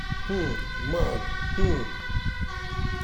um nan um